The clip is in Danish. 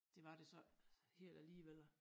Det var det så ikke helt alligevel